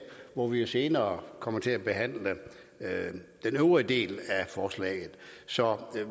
hvor vi jo senere kommer til at behandle den øvrige del af forslaget så